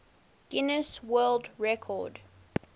guinness world record